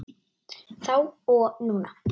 Þá og núna.